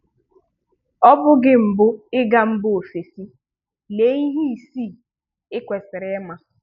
Ọ bụ gị mbụ ịga mba ofesi, lee ihe isii i kwesịrị ịma